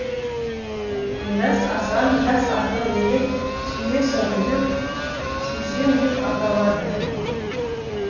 мирас асан жас ақын неге сүйесің жүрек сүйесің деп аталады